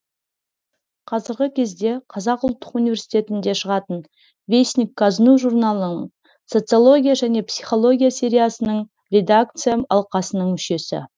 қазіргі кезде қазақ ұлттық университетінде шығатын вестник казну журналының социология және психология сериясының редакция алқасының мүшесі